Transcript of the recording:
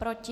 Proti?